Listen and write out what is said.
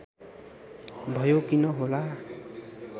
भयो किन होला